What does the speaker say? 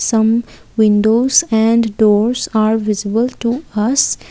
Some windows and doors are visible to us.